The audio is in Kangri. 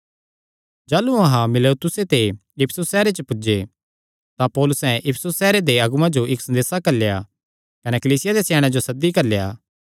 जाह़लू अहां मीलेतुसे ते इफिसुस सैहरे पुज्जे तां पौलुसैं इफिसुस सैहरे दे अगुआं जो इक्क संदेसा घल्लेया कने कलीसिया देयां स्याणेयां जो सद्दी घल्लेया